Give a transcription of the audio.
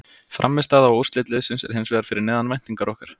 Frammistaða og úrslit liðsins er hins vegar fyrir neðan væntingar okkar.